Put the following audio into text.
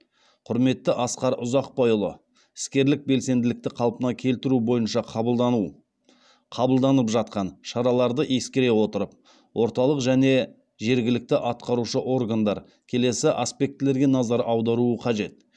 құрметті асқар ұзақбайұлы іскерлік белсенділікті қалпына келтіру бойынша қабылдану қабылданып жатқан шараларды ескере отырып орталық және жергілікті атқарушы органдар келесі аспектілерге назар аударуы қажет